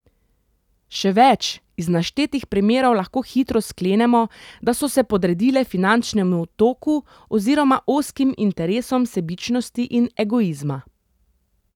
Še več, iz naštetih primerov lahko hitro sklenemo, da so se podredile finančnemu toku oziroma ozkim interesom sebičnosti in egoizma!